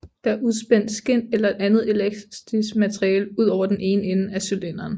Der er udspændt skind eller et andet elastisk materiale ud over den ene ende af cylinderen